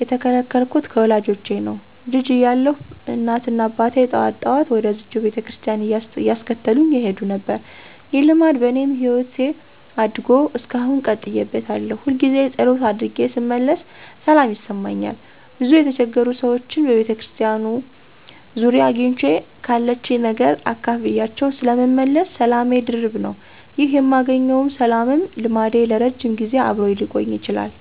የተከተልኩት ከወላጆቼ ነው። ልጅ እያለሁ እናትና አባቴ ጠዋት ጠዋት ወደዝችው ቤተክርስቲያን እያስከተሉኝ ይሄዱ ነበር። ይህ ልማድ በኔም ህይወት አድጎ እስካሁን ቀጥዬበታለሁ። ሁልጊዜ ፀሎት አድርጌ ስመለስ ሰላም ይሰማኛል፤ ብዙ የተቸገሩ ሰዎችንም በቤተክርስቲያኒቱ ዙሪያ አግኝቼ ካለችኝ ነገር አካፍያቸው ስለምመለስ ሰላሜ ድርብ ነው። ይህ የማገኘውም ሰላምም ልማዴ ለረጅም ጊዜ አብሮኝ ሊቆይ ችሏል።